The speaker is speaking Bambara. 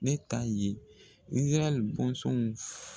Ne ta ye Izarayɛli bɔnsɔnw ye